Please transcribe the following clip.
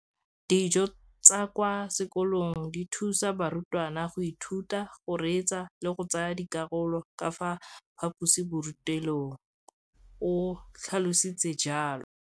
Dijo tsa kwa sekolong dithusa barutwana go ithuta, go reetsa le go tsaya karolo ka fa phaposiborutelong, o tlhalositse jalo.